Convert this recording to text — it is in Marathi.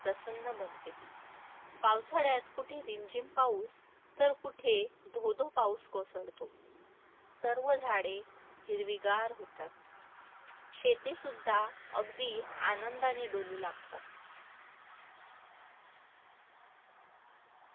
प्रसन्न बनते. पावसाळ्यात कुठे रिमझिम पाऊस तर कुठे धोधो पाऊस कोसळतो. सर्व झाडे हिरवीगार होतात. शेतीसुद्धा अगदी आनंदाने डुलू लागते.